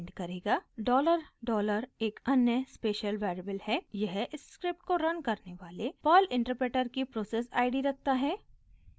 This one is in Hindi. डॉलर डॉलर एक अन्य स्पेशल वेरिएबल है यह इस स्क्रिप्ट को रन करने वाले पर्ल इंटरप्रेटर की प्रोसेस id रखता है